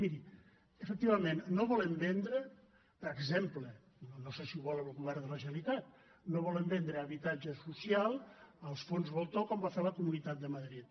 miri efectivament no volem vendre per exemple no sé si ho vol el govern de la generalitat habitatge social als fons voltor com va fer la comunitat de madrid